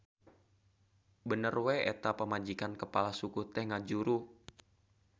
Bener we eta pamajikan kepala suku teh ngajuru.